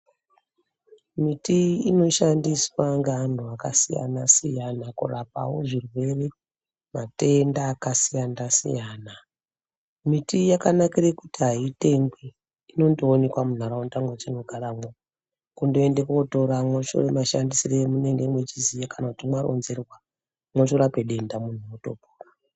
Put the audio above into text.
Miti inoshandiswa ngaantu akasiyana-siyana kurapavo zvirwere matenda akasiyana-siyana, Miti yakanakire kuti haitengwi inondoonekwa muntaraunda mwatinogaramwo. Kundoenda kotora moshore mashandisire amunenge muchiziya kana kuti mwaronzerwa motorape denda muntu otopona.